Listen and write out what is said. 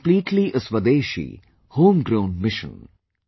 It is completely a swadeshi, home grown mission